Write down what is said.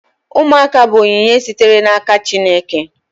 Ụmụaka bụ onyinye sitere n'aka Chineke